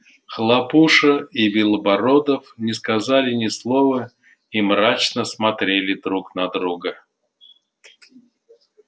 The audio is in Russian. хлопуша и белобородов не сказали ни слова и мрачно смотрели друг на друга